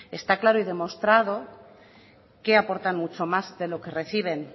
está claro y demostrado que aportan mucho más de lo que reciben